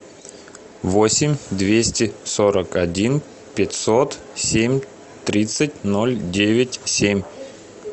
восемь двести сорок один пятьсот семь тридцать ноль девять семь